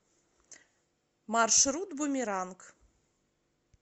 маршрут бумеранг